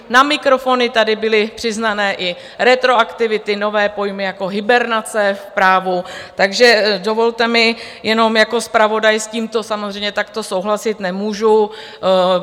Na mikrofony tady byly přiznané i retroaktivity, nové pojmy jako hibernace v právu, takže dovolte mi jenom, jako zpravodaj s tímto samozřejmě takto souhlasit nemůžu.